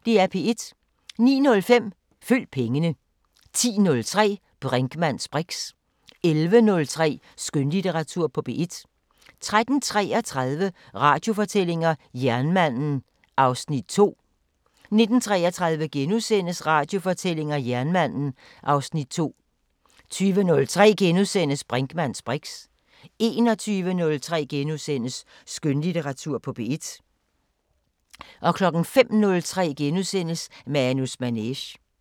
09:05: Følg pengene 10:03: Brinkmanns briks 11:03: Skønlitteratur på P1 13:33: Radiofortællinger: Jernmanden (Afs. 2) 19:33: Radiofortællinger: Jernmanden (Afs. 2)* 20:03: Brinkmanns briks * 21:03: Skønlitteratur på P1 * 05:03: Manus Manege *